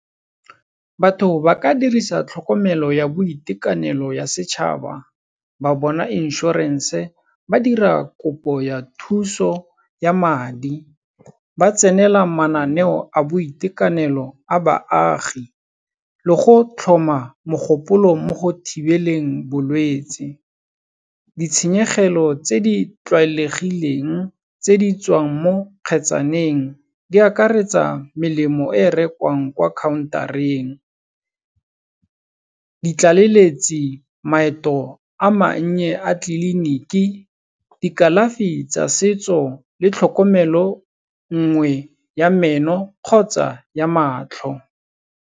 Batho ba ka dirisa tlhokomelo ya boitekanelo ya setšhaba, ba bona inšhorense ba dira kopo ya thuso ya madi, ba tsenela mananeo a boitekanelo a baagi le go tlhoma mogopolo mo go thibeleng bolwetsi. Ditshenyegelo tse di tlwaelegileng tse di tswang mo kgetsaneng di akaretsa melemo e rekwang kwa counter-eng, ditlaleletsi, maeto a mannye a tliliniki, dikalafi tsa setso le tlhokomelo nngwe ya meno kgotsa ya matlho.